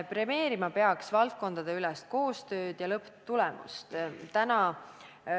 Premeerima peaks valdkondadeülest koostööd ja lõpptulemust.